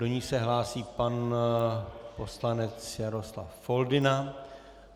Do ní se hlásí pan poslanec Jaroslav Foldyna.